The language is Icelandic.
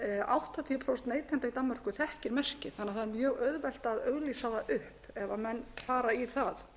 áttatíu prósent neytenda í danmörku þekkir merkið þannig að það er mjög auðvelt að auglýsa það upp ef menn fara í það